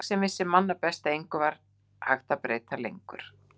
Ég sem vissi manna best að engu var hægt að breyta lengur.